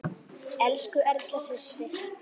Elsku Erna systir.